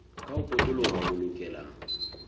ka ho potoloha o lokela